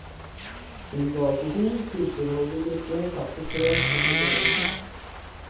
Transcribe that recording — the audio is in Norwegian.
Unngå alkohol, kullsyreholdig drikke, kaffe, te og proteinrik mat.